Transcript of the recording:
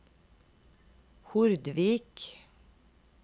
Hordvik